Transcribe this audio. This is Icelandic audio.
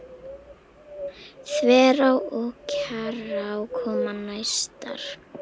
Þverá og Kjarrá koma næstar.